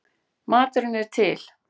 Maturinn er til.